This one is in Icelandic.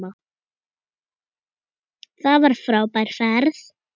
Það var frábær ferð.